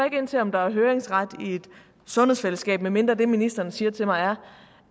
ind til om der er høringsret i et sundhedsfællesskab medmindre det ministeren siger til mig er